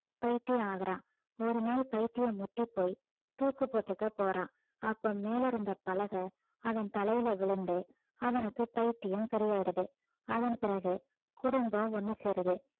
பைத்தியம் ஆகறான் ஒரு நாள் பைத்தியம் முற்றிப் போய் தூக்கு போட்டுக்க போறான் அப்ப மேல இருந்த பலகை அவன் தலையில விழுந்து அவனுக்கு பைத்தியம் சரியாயிறது அதன் பிறகு குடும்பம் ஒண்ணு சேருது